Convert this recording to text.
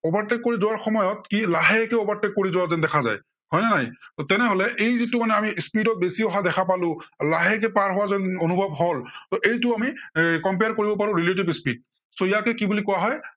overtake কৰি যোৱাৰ সময়ত ই লাহেকে overtake কৰি যোৱা যেন দেখা যায়, হয় নে নাই। ত' তেনেহলে এই যিটো যে আমি speed ত বেছি অহা দেখা পাও, লাহেকে পাৰ হোৱা যেন অনুভৱ হ'ল, ত' এইটো আমি compare কৰিব পাৰো relatives speed, so ইয়াকে কি বুলি কোৱা হয়।